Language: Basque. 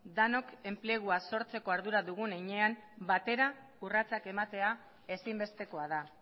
denok enplegua sortzeko ardura dugun heinean batera urratsak ematea ezinbestekoa da